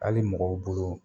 Ali mɔgɔw bolo